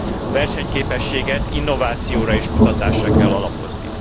a versenyképességet innovációra és kutatásra kell alapozni.